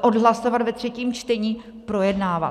odhlasovat ve třetím čtení, projednávat.